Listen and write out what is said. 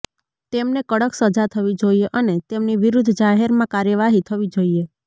તેમને કડક સજા થવી જોઇએ અને તેમની વિરુદ્ધ જાહેરમાં કાર્યવાહી થવી જોઇએ